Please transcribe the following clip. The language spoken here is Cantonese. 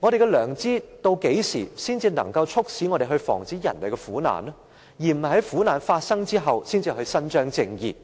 我們的良知何時才能促使我們防止人類的苦難，而不是在苦難發生後才去伸張正義？